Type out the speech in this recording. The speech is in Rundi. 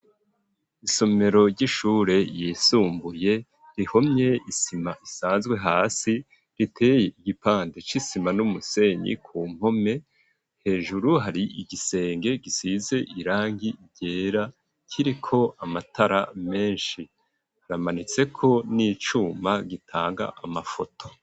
Isomero ry'ishure yisumbuye, rihomye isima isanzwe hasi, riteye igipande c'isima n'umusenyi ku mpome, hejuru hari igisenge gisize irangi ryera, kiriko amatara menshi; haramanitseko n'icuma gitanga amafoto.